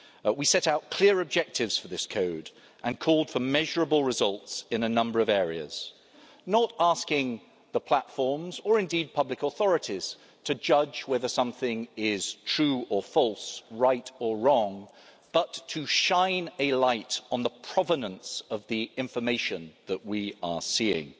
We set out clear objectives for this code and called for measurable results in a number of areas, not asking the platforms, or indeed public authorities, to judge whether something is true or false, right or wrong, but to shine a light on the provenance of the information that we are seeing.